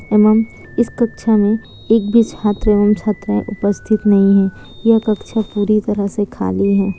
एवं इस कक्षा में एक भी छात्र एवं छात्राए उपस्थित नहीं है यह कक्षा पूरी तरह से खाली है।